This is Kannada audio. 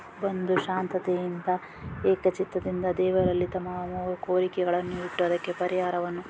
ಬಂದು ಶಾಂತತೆ ಇಂದ ಏಕ ಚಿತ್ತದಿಂದ ದೇವರಲ್ಲಿ ತಮ್ಮ ಕೋರಿಕೆಗಲ್ಲನ್ನು ಇಟ್ಟು ಅದಕ್ಕೆ ಪರಿಹಾರವನ್ನು--